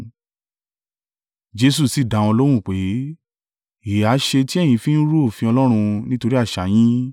Jesu sì dá wọn lóhùn pé, “Èéha ṣe tí ẹ̀yin fi rú òfin Ọlọ́run, nítorí àṣà yín?